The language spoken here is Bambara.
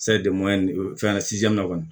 fɛn kɔni